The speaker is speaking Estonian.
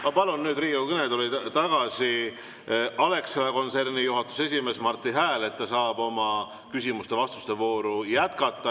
Ma palun nüüd Riigikogu kõnetooli tagasi Alexela kontserni juhatuse esimehe Marti Hääle, et me saaks küsimuste ja vastuste vooru jätkata.